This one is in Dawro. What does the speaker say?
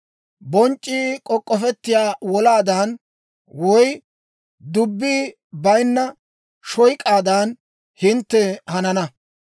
Bonc'c'ii k'ok'k'ofettiyaa wolaadan, woy dubbi bayinna shoyk'aadan, hintte hanana.